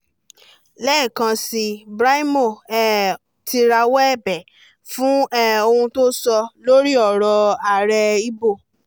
lẹ́ẹ̀kan síi brymo um ti rawọ́ ẹ̀bẹ̀ fún um ohun tó sọ lórí ọ̀rọ̀ ààrẹ igbó